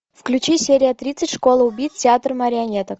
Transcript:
включи серия тридцать школа убийц театр марионеток